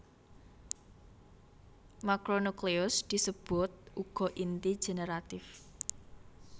Makronukleus disebut uga inti generatif